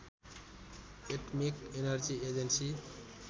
atomic energy agency